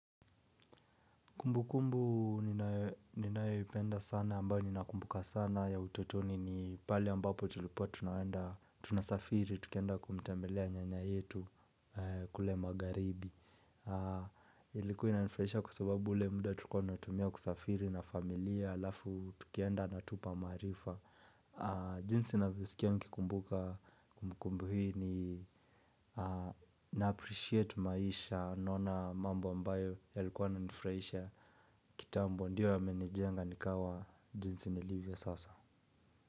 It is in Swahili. Kumbukumbu ninayoipenda sana ambao ninakumbuka sana ya utotoni ni pale ambapo tulipo tunaenda tunasafiri tukienda kumtembelea nyanya yetu kule magharibi ilikuwa inanifurahisha kwa sababu ule muda tulikua tunatumia kusafiri na familia alafu tukaenda akatupa maarifa jinsi ninavyosikia nikikumbuka kumbukumbu hii ni na appreciate maisha naona mambo ambayo yalikuwa na nifurahisha kitambo ndiyo yamenijenga nikawa jinsi nilivyo sasa.